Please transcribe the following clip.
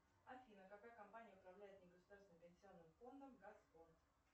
афина какая компания управляет негосударственным пенсионным фондом газфонд